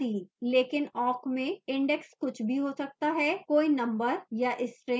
लेकिन awk में index कुछ भी हो सकता हैकोई number या string